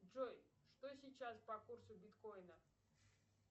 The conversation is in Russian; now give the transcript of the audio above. джой что сейчас по курсу биткоина